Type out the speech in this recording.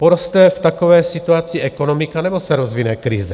Poroste v takové situaci ekonomika, nebo se rozvine krize?